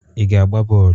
I ga-agba bọl?